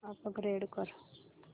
upgrade कर